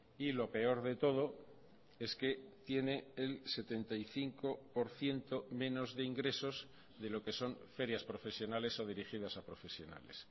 y lo peor de todo es que tiene el setenta y cinco por ciento menos de ingresos de lo que son ferias profesionales o dirigidas a profesionales